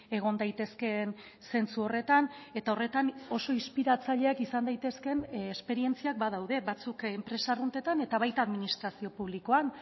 egon daitezkeen zentzu horretan eta horretan oso inspiratzaileak izan daitezkeen esperientziak badaude batzuk enpresa arruntetan eta baita administrazio publikoan